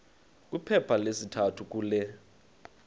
kwiphepha lesithathu kule